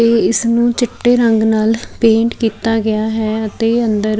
ਇਹ ਇਸ ਨੂੰ ਚਿੱਟੇ ਰੰਗ ਨਾਲ ਪੈਂਟ ਕੀਤਾ ਗਿਆ ਹੈ ਅਤੇ ਅੰਦਰ --